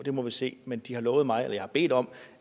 må vi se men de har lovet mig og jeg har bedt om